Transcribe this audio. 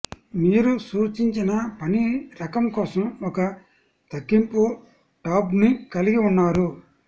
మీరు సూచించిన పని రకం కోసం ఒక తగ్గింపు టాబ్ను కలిగి ఉన్నారు